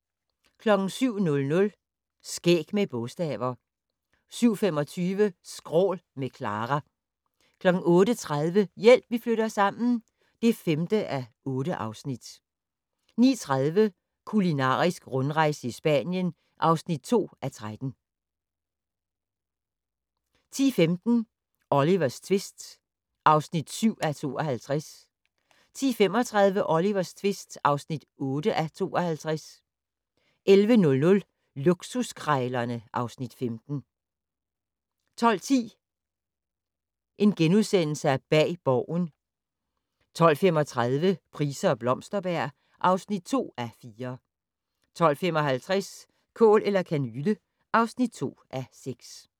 07:00: Skæg med bogstaver 07:25: Skrål - med Clara 08:30: Hjælp, vi flytter sammen (5:8) 09:30: Kulinarisk rundrejse i Spanien (2:13) 10:15: Olivers tvist (7:52) 10:35: Olivers tvist (8:52) 11:00: Luksuskrejlerne (Afs. 15) 12:10: Bag Borgen * 12:35: Price og Blomsterberg (2:4) 12:55: Kål eller kanyle (2:6)